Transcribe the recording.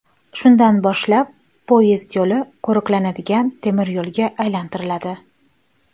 Shundan boshlab poyezd yo‘li qo‘riqlanadigan temiryo‘lga aylantiriladi.